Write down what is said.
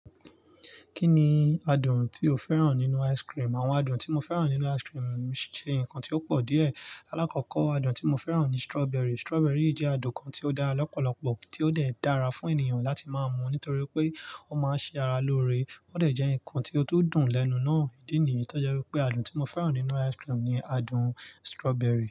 Kí ni adùn tí o fẹ́ràn nínú ice cream? Àwọn adùn tí mo fẹ́ràn nínú ice cream ṣe nǹkan tí ó pọ̀ díẹ̀. Alákọ̀ọ́kọ́ adùn tí mo fẹ́ràn ni strawberry. Strawberry jẹ́ adùn kan tí ó dá lọ́pọ̀lọpọ̀, tí ó de dàra fún ènìyàn láti máa mú nítorí pé ó máa ń ṣe ara lóore, ó dẹ̀ jẹ́ ǹkan tí ó tún dùn lẹ́nu náà. Ídì nìyí tó jẹ́ wípé adùn tí mo fẹ́ràn nínú ice cream ni adùn strawberry.